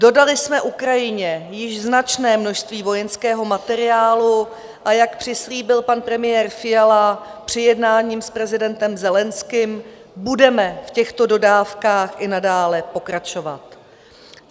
Dodali jsme Ukrajině již značné množství vojenského materiálu, a jak přislíbil pan premiér Fiala při jednání s prezidentem Zelenským, budeme v těchto dodávkách i nadále pokračovat.